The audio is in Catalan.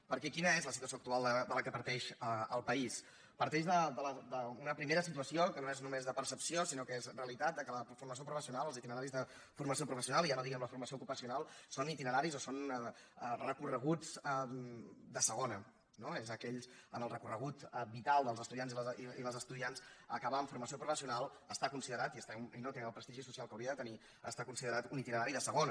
perquè quina és la situació actual de la qual parteix el país parteix d’una primera situació que no és només de percepció sinó que és realitat que la formació professional els itineraris de formació professional i ja no diguem la formació ocupacional són itineraris o són recorreguts de segona no en el recorregut vital dels estudiants i les estudiants acabar amb formació professional està considerat i no té el prestigi social que hauria de tenir un itinerari de segona